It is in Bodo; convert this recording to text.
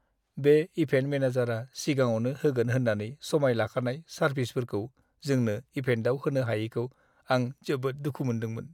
बे इभेन्ट मेनेजारआ सिगाङावनो होगोन होन्नानै समाय लाखानाय सारभिसफोरखौ जोंनि इभेन्टआव होनो हायैखौ आं जोबोद दुखु मोनदों।